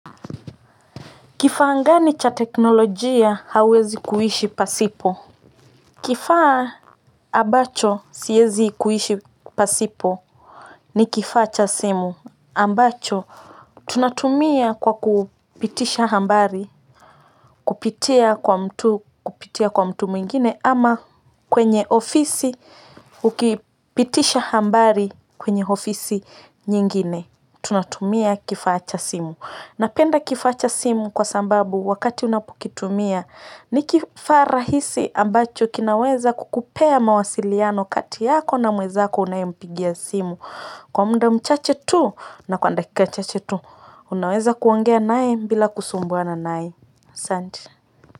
Kifaa gani cha teknolojia huwezi kukaa pasipo Kifaa ambacho siwezi kuishi pasipo ni kifaa cha simu ambacho tunatumia kwa kupitisha habari kupitia kwa mtu mwingine ama kwenye ofisi ukipitisha habari kwenye ofisi nyingine. Tunatumia kifaa cha simu napenda kifaa cha simu kwa sababu wakati unapokitumia ni kifaa rahisi ambacho kinaweza kukupea mawasiliano kati yako na mwezako unaye mpigia simu kwa muda mchache tu na kwa dakika chache tu unaweza kuongea naye bila kusumbuana naye asanti.